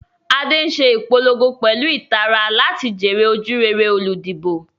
Ade ń ṣe ìpolongo pẹ̀lú ìtara láti jèrè ojúrere olùdìbò.